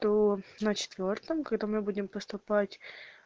то на четвёртом когда мы будем поступать